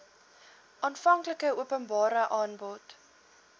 aanvanklike openbare aanbod